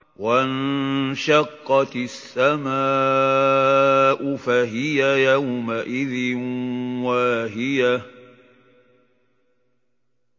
وَانشَقَّتِ السَّمَاءُ فَهِيَ يَوْمَئِذٍ وَاهِيَةٌ